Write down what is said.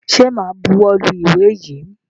Ṣẹ máa buwọ́ lu ìwé yìí?